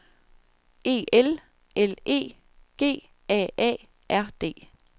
E L L E G A A R D